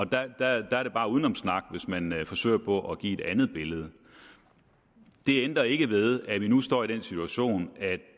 der der er det bare udenomssnak hvis man forsøger på at give et andet billede det ændrer ikke ved at vi nu står i den situation at